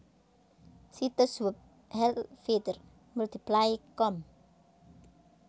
Situs web helvytr multiply com